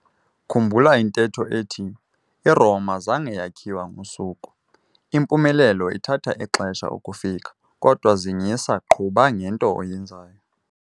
Khumbula intetho ethi 'I-Roma zange yakhiwa ngosuku.' Impumelelo ithatha ixesha ukufika kodwa zingisa - qhuba ngento oyenzayo.